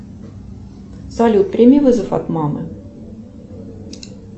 салют прими вызов от мамы